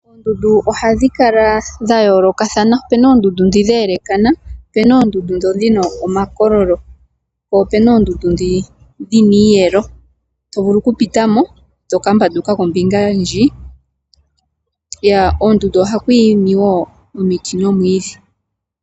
Oondundu ohadhi kala dha yoolokathana opena dhi dheelekana ,opena oondundu dhi dhina omakololo po opena oondundu dhi dhina iiyelo to vulu ku pitamo toka mbanduka kombinga ndjiyaka. Koondundu ohaku mene oomwidhi nomiti.